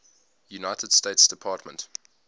united states department